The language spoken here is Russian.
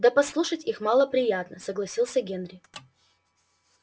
да послушать их мало приятно согласился генри